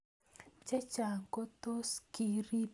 Chechang ko tos ki rip mionwek.